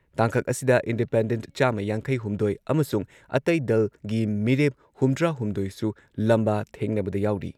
ꯇꯥꯡꯀꯛ ꯑꯁꯤꯗ ꯏꯟꯗꯤꯄꯦꯟꯗꯦꯟꯠ ꯆꯥꯝꯃ ꯌꯥꯡꯈꯩꯍꯨꯝꯗꯣꯏ ꯑꯃꯁꯨꯡ ꯑꯇꯩ ꯗꯜꯒꯤ ꯃꯤꯔꯦꯞ ꯍꯨꯝꯗ꯭ꯔꯥ ꯍꯨꯝꯗꯣꯏꯁꯨ ꯂꯝꯕꯥ ꯊꯦꯡꯅꯕꯗ ꯌꯥꯎꯔꯤ꯫